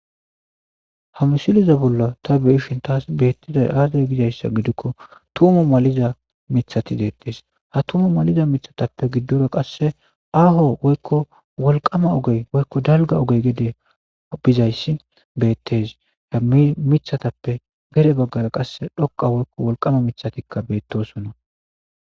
Ha misiliza bolla ta beishin taas beettida aaday gidayssa gidikko tumu maliza mithati deettees ha tumu maliza mithatappe giddora qasse aho woykko wolqama ogey woykko dalga ogey gede bizayssi beettes ha mi mithatappe gere baggara qasse dhoqa woykko wolqama mithatikka beettosonna.